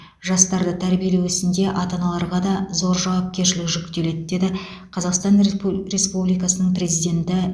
жастарды тәрбиелеу ісінде ата аналарға да зор жауапкершілік жүктеледі деді қазақстан респу республикасының президенті